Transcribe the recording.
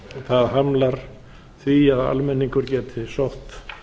það hamlar því að almenningur geti sótt